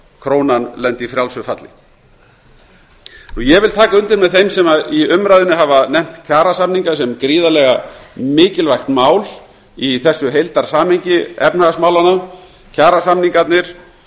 krónan lendi í frjálsu falli ég tek undir með þeim sem í umræðunni hafa nefnt kjarasamninga sem gríðarlega mikilvægt mál í þessu heildarsamhengi efnahagsmálanna kjarasamningarnir